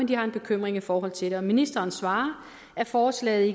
de har en bekymring i forhold til det og ministeren svarer at forslaget